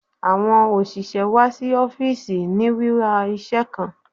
Awọn oṣiṣẹ wa si ọfiisi ni wiwa iṣẹ kan